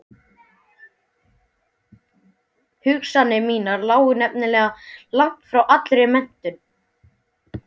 Hugsanir mínar lágu nefnilega langt frá allri menntun.